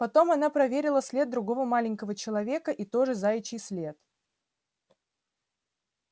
потом она проверила след другого маленького человека и тоже заячий след